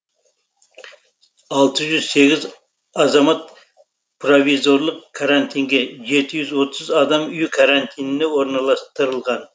алты жүз сегіз азамат провизорлық карантинге жеті жүз отыз адам үй карантиніне орналастырылған